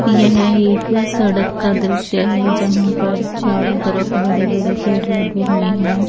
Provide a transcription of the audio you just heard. यह एक सड़क का दृश्य है जहाँ पर चारों तरफ़ बड़े बड़े पेड़ लगे हुए है।